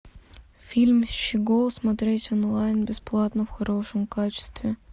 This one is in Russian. фильм щегол смотреть онлайн бесплатно в хорошем качестве